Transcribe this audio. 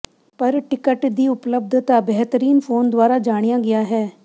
ਪਰ ਟਿਕਟ ਦੀ ਉਪਲੱਬਧਤਾ ਬੇਹਤਰੀਨ ਫ਼ੋਨ ਦੁਆਰਾ ਜਾਣਿਆ ਗਿਆ ਹੈ